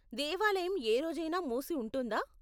దేవాలయం ఏ రోజైనా మూసి ఉంటుందా?